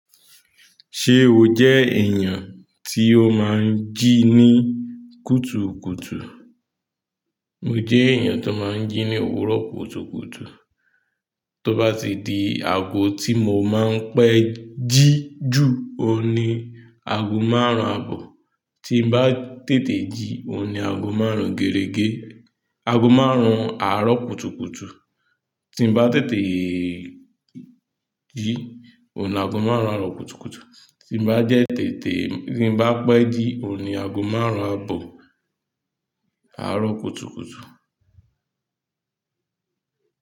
Ṣe o jẹ́ èèyàn ti o máa ń jí ní kùtukùtù? Mo jẹ́ èèyàn tó máa ń jí ní òwúrọ̀ kùtukùtù. Tí ó bá ti di ago tí mo máa ń pé jí jù, òun ni ago márùn-ún abọ̀. Tí n bá tete jí, òun ni ago márùn-ún gérégé. Ago márùn-ún àárọ̀ kùtukùtù. Tí n bá tètè jí, òun ni ago márùn-ún àárọ̀ kùtukùtù. Tí n bá dẹ tètè, tí n bá pé jí, òun ni ago márùn-ún abọ̀ àárọ̀ kùtukùtù.